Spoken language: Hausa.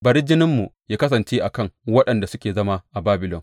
Bari jininmu yă kasance a kan waɗanda suke zama a Babilon,